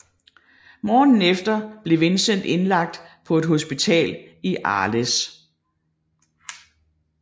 Morgenen efter blev Vincent indlagt på et hospital i Arles